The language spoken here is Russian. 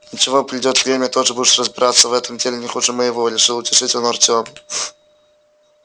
ничего придёт время тоже будешь разбираться в этом деле не хуже моего решил утешить он артёма